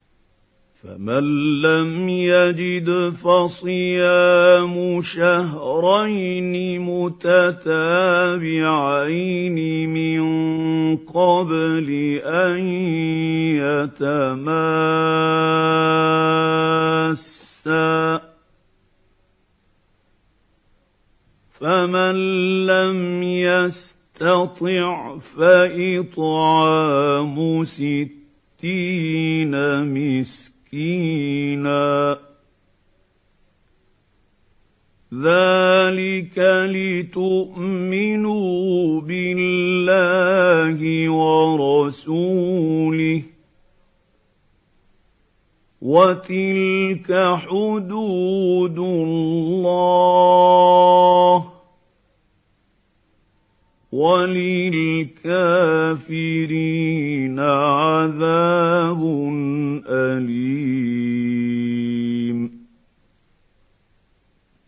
فَمَن لَّمْ يَجِدْ فَصِيَامُ شَهْرَيْنِ مُتَتَابِعَيْنِ مِن قَبْلِ أَن يَتَمَاسَّا ۖ فَمَن لَّمْ يَسْتَطِعْ فَإِطْعَامُ سِتِّينَ مِسْكِينًا ۚ ذَٰلِكَ لِتُؤْمِنُوا بِاللَّهِ وَرَسُولِهِ ۚ وَتِلْكَ حُدُودُ اللَّهِ ۗ وَلِلْكَافِرِينَ عَذَابٌ أَلِيمٌ